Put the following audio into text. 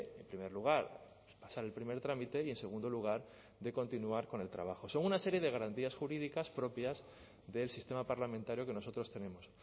en primer lugar pasar el primer trámite y en segundo lugar de continuar con el trabajo son una serie de garantías jurídicas propias del sistema parlamentario que nosotros tenemos